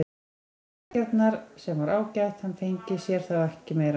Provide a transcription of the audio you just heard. Það voru dreggjarnar, sem var ágætt, hann fengi sér þá ekki meira.